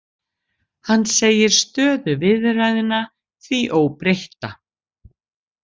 Hann segir stöðu viðræðna því óbreytta